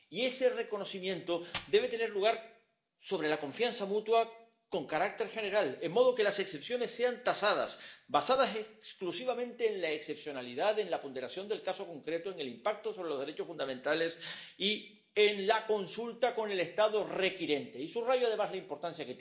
Y ese reconocimiento debe tener lugar sobre la base de la confianza mutua con carácter general de modo que las excepciones sean tasadas, basadas exclusivamente en la excepcionalidad, en la ponderación del caso concreto, en el impacto sobre los derechos fundamentales y en la consulta con el Estado requirente. Y subrayo, además, la importancia